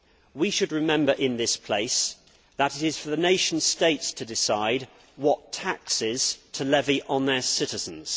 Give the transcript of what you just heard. We should remember in this place that it is for the nation states to decide what taxes to levy on their citizens.